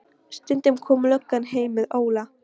Stundum kom löggan heim með Óla.